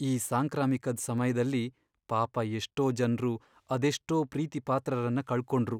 ಈ ಸಾಂಕ್ರಾಮಿಕದ್ ಸಮಯ್ದಲ್ಲಿ ಪಾಪ ಎಷ್ಟೋ ಜನ್ರು ಅದೆಷ್ಟೋ ಪ್ರೀತಿಪಾತ್ರರನ್ನ ಕಳ್ಕೊಂಡ್ರು.